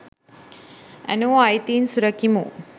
ඇනෝ අයිතීන් සුරකිමු !